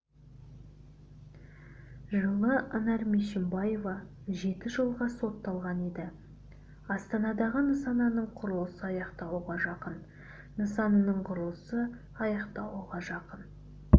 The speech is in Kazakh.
жылы анар мешімбаева жеті жылға сотталған еді астанадағы нысанының құрылысы аяқталуға жақын нысанының құрылысы аяқталуға жақын